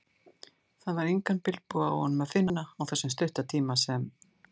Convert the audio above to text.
Það var engan bilbug á honum að finna, á þessum stutta tíma sem